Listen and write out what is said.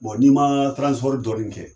Bɔn n'i ma tiransipɔri dɔɔnin kɛ